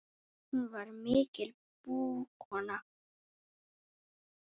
Hún var mikil búkona.